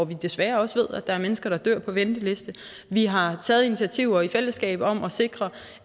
ved desværre også at der er mennesker der dør på venteliste vi har taget initiativer i fællesskab om at sikre